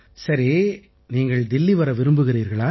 சரி நீங்கள் தில்லி வர விரும்புகிறீர்களா